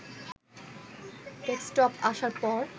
desktop আসার পর